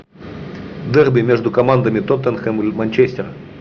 дерби между командами тоттенхэм и манчестер